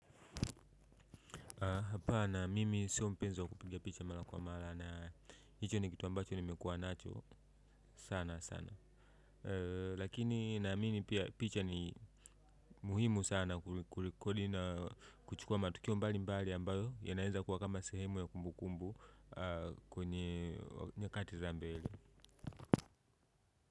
Hapa na mimi sio mpenzi kupigia picha mara kwa mara na hicho ni kitu ambacho nimekuwa nacho sana sana lakini naamimi picha ni muhimu sana kulikoli na kuchukua matukio mbalimbali ambayo yanaenza kuwa kama sehemu ya kumbukumbu kwenye nyakati za mbele.